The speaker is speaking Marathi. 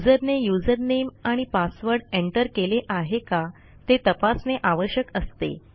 युजरने usernameआणि पासवर्ड एंटर केले आहे का ते तपासणे आवश्यक असते